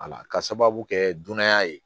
Ala ka sababu kɛ dunanya ye